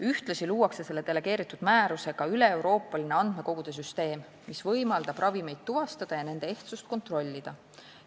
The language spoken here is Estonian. Ühtlasi luuakse selle delegeeritud määrusega üleeuroopaline andmekogude süsteem, mis võimaldab ravimeid tuvastada ja nende ehtsust kontrollida.